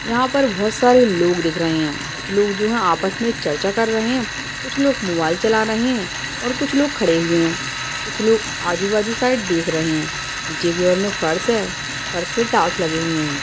यहाँ पर बहुत सरे लोग दिख रहे हैं कुछ लोग जो है आपस में चर्चा कर रहे हैं कुछ लोग मोबाइल चला रहे हैं और कुछ लोग खड़े हुए हैं कुछ लोग आजू-बाजु साइड देख रहे हैं नीचे की ओर में फ़र्श है फ़र्श में टाइल्स लगे हुए हैं।